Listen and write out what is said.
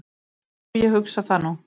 """Jú, ég hugsa það nú."""